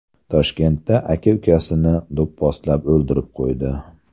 Toshkentda aka ukasini do‘pposlab o‘ldirib qo‘ydi.